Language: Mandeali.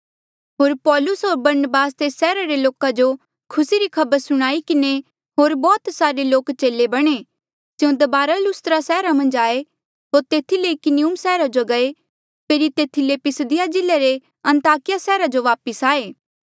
होर पाैलुस होर बरनबास तेस सैहरा रे लोका जो खुसी री खबर सुणाई किन्हें होर बौह्त सारे लोक चेले बणे स्यों दबारा लुस्त्रा सैहरा मन्झ आये होर तेथी ले इकुनियुम सैहरा जो गये फेरी तेथी ले पिसिदिया जिल्ले रे अन्ताकिया सैहरा जो वापस आई गये